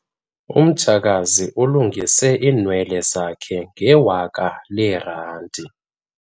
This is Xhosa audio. Umtshakazi ulungise iinwele zakhe ngewaka leerandi.